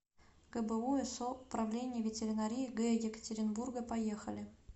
гбу со управление ветеринарии г екатеринбурга поехали